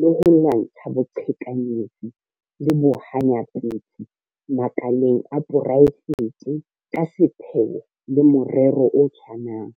le ho lwantsha boqhekanyetsi le bohanyapetsi makaleng a poraefete ka sepheo le morero o tshwanang.